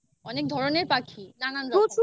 অনেক ধরনের পাখি? নানা রকমের?